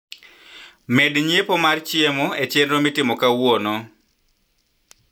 med nyiepo mar chiemo e chenro mitimo kauono